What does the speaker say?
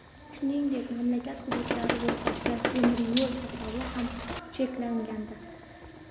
Shuningdek, mamlakat hududlari o‘rtasidagi temiryo‘l qatnovi ham cheklangandi.